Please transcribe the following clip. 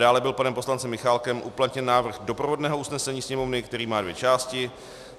Dále byl panem poslancem Michálkem uplatněn návrh doprovodného usnesení Sněmovny, který má dvě části.